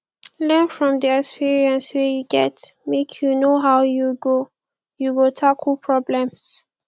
learn from di experience wey you get make you know how you go go tackle problems